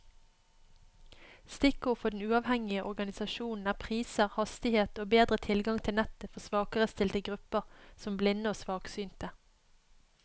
Stikkord for den uavhengige organisasjonen er priser, hastighet og bedre tilgang til nettet for svakerestilte grupper som blinde og svaksynte.